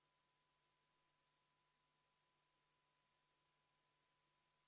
Vastavalt Riigikogu kodu- ja töökorra seaduse § 87 lõikele 5 on Riigikogu liikmetel hääletamiseks aega 30 minutit hääletamise algusest.